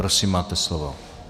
Prosím máte slovo.